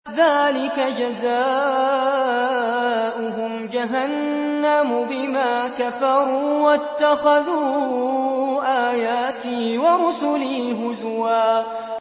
ذَٰلِكَ جَزَاؤُهُمْ جَهَنَّمُ بِمَا كَفَرُوا وَاتَّخَذُوا آيَاتِي وَرُسُلِي هُزُوًا